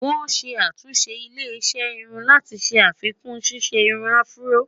wòn ṣé àtúnṣe ilé iṣé irún láti ṣé àfikún ṣiṣẹ irún afro